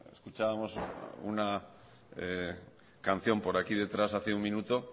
escuchábamos una canción por aquí detrás hace un minuto